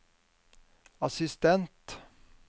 assistent